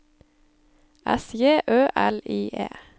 S J Ø L I E